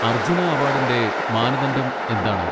അർജ്ജുന അവാഡിന്റെ മാനദണ്ഡം എന്താണ്?